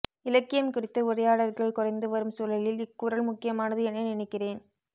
இலக்கியம் குறித்த உரையாடல்கள் குறைந்துவரும் சூழலில் இக்குரல் முக்கியமானது என நினைக்கிறேன்